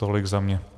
Tolik za mě.